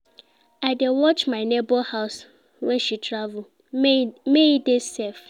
I dey watch my nebor house wen she travel, make e dey safe.